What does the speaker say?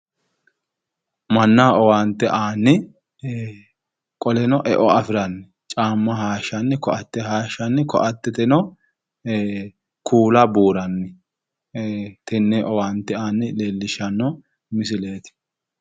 Mannaho owaante aanni qoleno eo afiranni caamma hayishshanni koatte hayishshanni koatteteno kuula buuranni tenne owaante aanna leellishshanno misileeti.